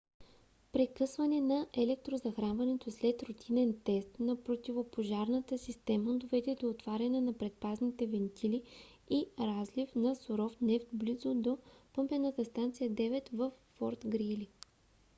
прекъсване на електрозахранването след рутинен тест на противопожарната система доведе до отваряне на предпазните вентили и разлив на суров нефт близо до помпена станция 9 във форт грийли